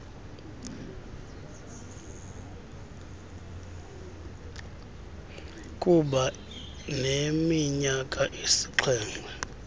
kuba neminyaka esixhenxe